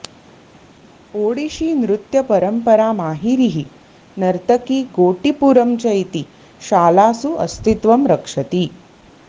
ओडिशीनृत्यपरम्परा माहिरिः नर्तकी गोटिपुरं च इति शालासु अस्तित्वं रक्षति